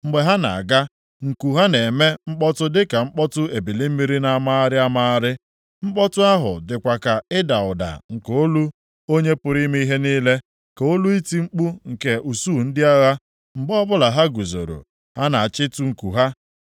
Mgbe ha na-aga, nku ha na-eme mkpọtụ dị ka mkpọtụ ebili mmiri na-amagharị amagharị. Mkpọtụ ahụ dịkwa ka ịda ụda nke olu Onye pụrụ ime ihe niile, ka olu iti mkpu nke usuu ndị agha. Mgbe ọbụla ha guzoro, ha na-achịtu nku ha.